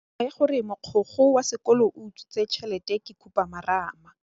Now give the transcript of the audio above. Taba ya gore mogokgo wa sekolo o utswitse tšhelete ke khupamarama.